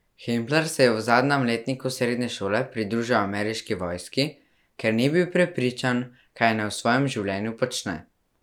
Hempler se je v zadnjem letniku srednje šole pridružil ameriški vojski, ker ni bil prepričan, kaj naj v svojem življenju počne.